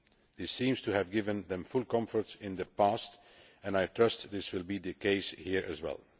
This seems to have given them full reassurance in the past and I trust this will be the case here as well.